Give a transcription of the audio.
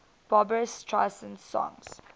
barbra streisand songs